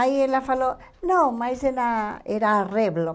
Aí ela falou, não, mas ela era a Revlon.